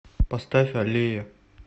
поставь аллея